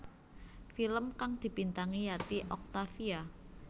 Film kang dibintangi Yati Octavia